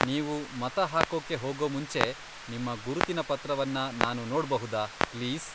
ನೀವು ಮತ ಹಾಕೋಕೆ ಹೋಗೋ ಮುಂಚೆ ನಿಮ್ಮ ಗುರುತಿನ ಪತ್ರವನ್ನ ನಾನು ನೋಡ್ಬಹುದಾ, ಪ್ಲೀಸ್?